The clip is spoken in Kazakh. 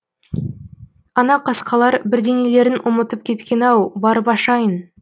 ана қасқалар бірдеңелерін ұмытып кеткен ау барып ашайын